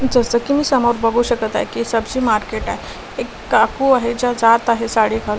जस की मी समोर बघू शकत आहे की सब्जी मार्केट आहे एक काकू आहे ज्या जात आहे साडीखा--